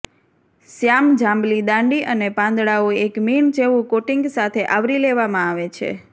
શ્યામ જાંબલી દાંડી અને પાંદડાઓ એક મીણ જેવું કોટિંગ સાથે આવરી લેવામાં આવે છે